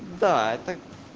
да это